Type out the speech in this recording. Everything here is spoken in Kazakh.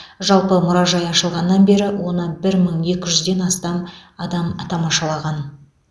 жалпы мұражай ашылғаннан бері оны бір мың екі жүзден астам адам тамашалаған